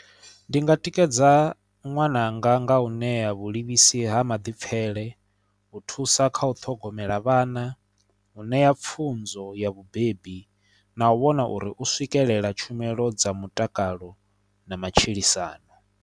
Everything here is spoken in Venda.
Ndi nga tikedza ṅwananga nga u ṋea vhulivhisi ha maḓipfele u thusa kha u ṱhogomela vhana u ṋea pfunzo ya vhubebi na u vhona uri u swikelela tshumelo dza mutakalo na matshilisano.